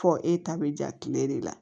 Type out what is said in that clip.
Fɔ e ta bɛ ja kile de la